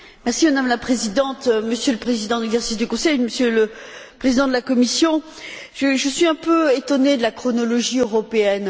Madame la Présidente, Monsieur le Président en exercice du Conseil, Monsieur le Président de la Commission, je suis un peu étonnée de la chronologie européenne.